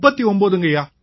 39ங்கய்யா